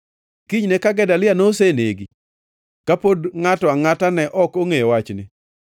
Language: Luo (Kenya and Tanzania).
Kinyne ka Gedalia nosenegi, ka pod ngʼato angʼata ne ok ongʼeyo wachni,